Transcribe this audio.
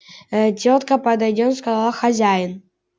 тётка подойдём сказал хозяин